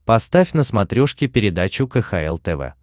поставь на смотрешке передачу кхл тв